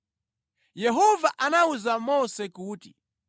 Yehova anawuza Mose kuti,